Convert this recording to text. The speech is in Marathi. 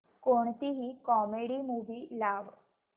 कोणतीही कॉमेडी मूवी लाव